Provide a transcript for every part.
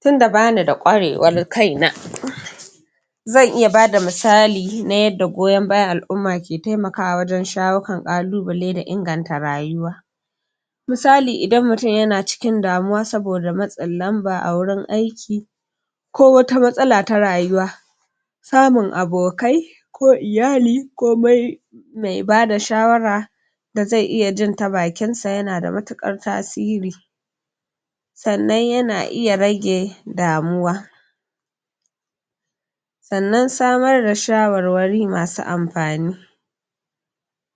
tunda bani da ƙwarewar kaina zan iya bada misali na yadda goyon bayan al'umma ke temakawa wajen shawo kan ƙalubale da inganta rayuwa misali idan mutum yana cikin damuwa saboda matsin lamba a wurin aiki ko wata matsala ta rayuwa samun abokai ko iyali ko me bada shawara da ze iya jin ta bakinsa yana da matuƙar tasiri sannan yana iya rage damuwa sannan samar da shawarwari masu amfani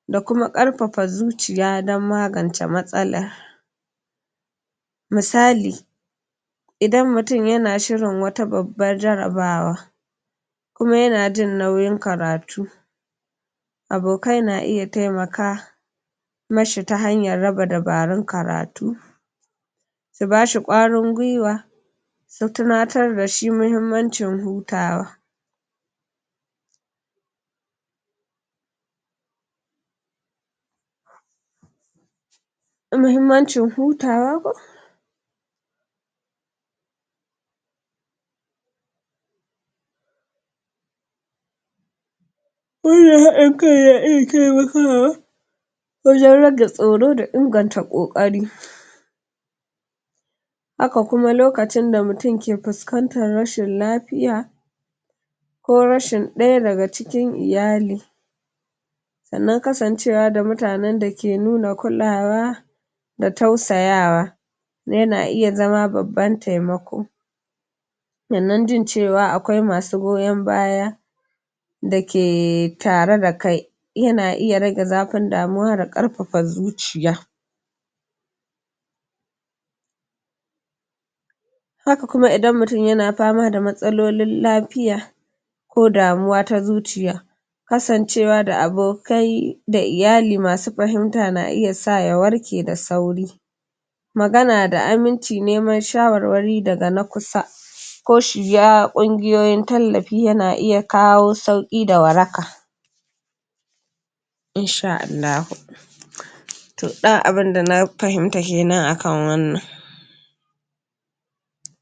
da kuma ƙarfafa zuciya dan magance matsala misali idan mutum yana shirin wata babbar jarabawa kuma yana jin nauyin karatu abokai na iya temaka mashi ta hanyar raba dabarun karatu su bashi ƙwarin gwiwa su tunatar da shi muhimmancin hutawa muhimmancin hutawa wannan haɗin kan na iya temakawa wajen rage tsoro da inganta ƙoƙari haka kuma lokacin da mutum ke fuskantar rashin lafiya ko rashin ɗaya daga cikin iyali sannan kasancewa da mutanen da ke nuna kulawa da tausayawa yana iya zama babban temako sannan jin cewa akwai masu goyon baya da ke tare da kai yana iya rage zafin damuwa da ƙarfafa zuciya haka kuma idan mutum yana fama da matsalolin lafiya ko damuwa ta zuciya kasancewa da abokai da iyali masu fahimta na iya sa ya warke da sauri magana da aminci neman shawarwari daga na kusa ko shiga ƙungiyoyin tallafi yana iya kawo sauƙi da waraka in sha Allahu to ɗan abunda na fahimta kenan akan wannan